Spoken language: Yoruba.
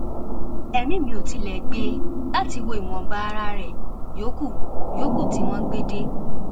ẹmí mi ò tilẹ gbé e láti wo ìwọnba ara ẹ yòókù yòókù tí wọn gbé dé